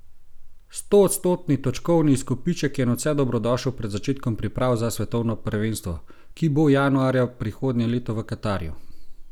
Stoodstotni točkovni izkupiček je nadvse dobrodošel pred začetkom priprav za svetovno prvenstvo, ki bo januarja prihodnje leto v Katarju.